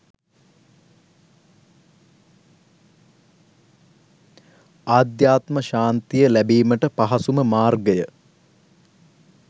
අධ්‍යාත්ම ශාන්තිය ලැබීමට පහසුම මාර්ගය